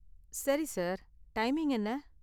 சரி, sir, timing என்ன?